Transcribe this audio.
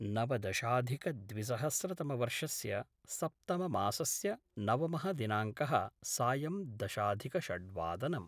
नवदशाधिकद्विसहस्रतमवर्षस्य सप्तममासस्य नवमः दिनांकः सायं दशाधिकषड्वादनम्